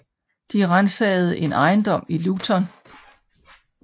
De ransagede en ejendom i Luton